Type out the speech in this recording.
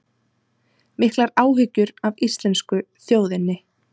Miklar áhyggjur af íslensku þjóðinni